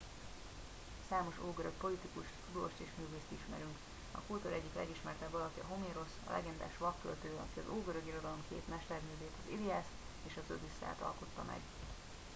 számos ógörög politikust tudóst és művészt ismerünk a kultúra egyik legismertebb alakja homérosz a legendás vak költő aki az ógörög irodalom két mesterművét az iliászt és az odüsszeiát alkotta meg